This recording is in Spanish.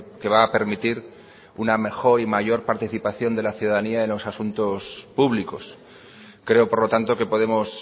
que va a permitir una mejor y mayor participación de la ciudadanía en los asuntos públicos creo por lo tanto que podemos